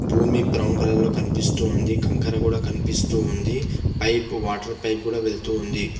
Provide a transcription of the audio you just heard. భూమి brown colour లో కనిపిస్తూ ఉంది కంకర కూడా కనిపిస్తూ ఉంది పైప్ వాటర్ పైప్ కూడా వెళుతూ వుంది.